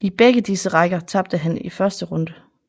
I begge disse rækker tabte han i første runde